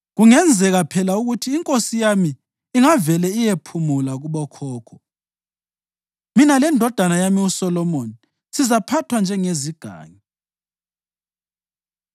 Kungenzeka phela ukuthi inkosi yami ingavele iyephumula kubokhokho, mina lendodana yami uSolomoni sizaphathwa njengezigangi.”